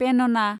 पेनना